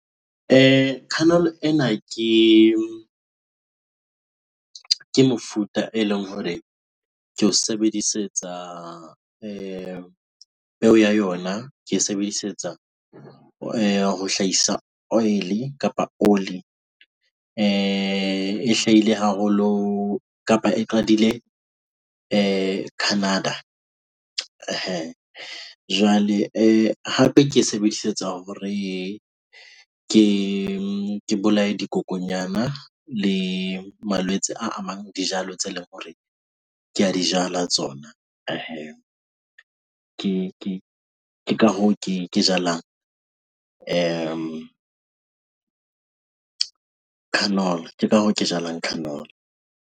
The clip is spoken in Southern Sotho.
Canola ena ke mefuta eleng hore ke o sebedisetsa peo yona ke e sebedisetsa ho hlahisa oil kapa oli. E hlahile haholo kapa e qadile Canada. Jwale hape ke e sebedisetsa hore ke bolaye dikokonyana le malwetse a amang dijalo tse leng hore ke a di jala tsona. Ke ka ka hoo ke jalang canola. Ke ka hoo ke jalang Canola.